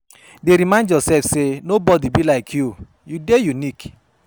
Dey remind yourself say no body be like you, you dey unique